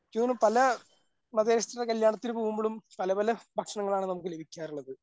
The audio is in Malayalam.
എനിക്ക് തോന്നുന്നു പല ൻ്റെ കല്യാണത്തിന് പോകുമ്പോഴും പലപല ഭക്ഷണങ്ങളാണ് നമുക്ക് ലഭിക്കാറുള്ളത്.